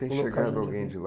Tem chegado alguém de lá?